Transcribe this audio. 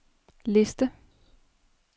liste